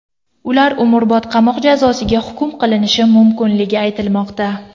Ular umrbod qamoq jazosiga hukm qilinishi mumkinligi aytilmoqda.